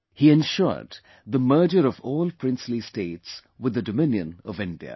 He ensured the merger of all princely states with the Dominion of India